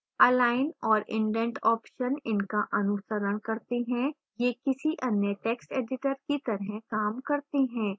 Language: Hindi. align और indent options इनका अनुसरण करते हैं ये किसी any text editor की तरह काम करते हैं